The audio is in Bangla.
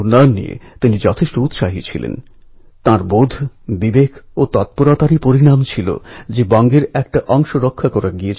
মানুষের মধ্যে করুণা সাম্য এবং শুচিতার ভাবনা নিয়ে এসেছেন